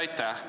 Aitäh!